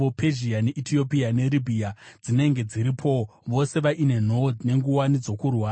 Pezhia neEtiopia neRibhiya dzinenge dziripowo, vose vaine nhoo nenguwani dzokurwa,